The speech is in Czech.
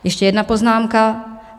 Ještě jedna poznámka.